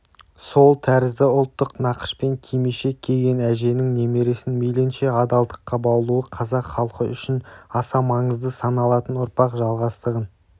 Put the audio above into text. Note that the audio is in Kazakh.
сол тәрізді ұлттық нақышпен кимешек киген әженің немересін мейлінше адалдыққа баулуы қазақ халқы үшін аса маңызды саналатын ұрпақ жалғастығын